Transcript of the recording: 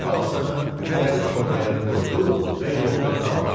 sıçan balasını təzə torbaya qoydu və yoluna davam elədi.